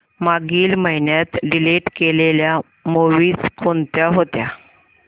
मागील महिन्यात डिलीट केलेल्या मूवीझ कोणत्या होत्या